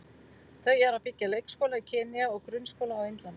Þau eru að byggja leikskóla í Kenýa og grunnskóla á Indlandi.